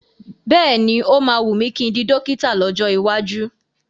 Bẹ́ẹ̀ni,o máa wùn mí kí n di dọ́kítà lọ́jọ́ iwájú.